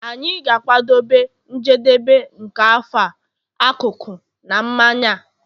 anyị ga-akwado njedebe nke afọ a akụkụ na mmanya a